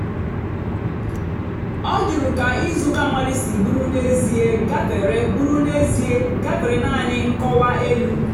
ọ jụ̀rù kà ìzùùka mmadụ́ sì bụ́rụ́ n'ézìè gàfèrè bụ́rụ́ n'ézìè gàfèrè naanì nkọ́wa èlù.